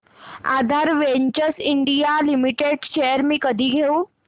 आधार ventures India limited shares मी कधी घेऊ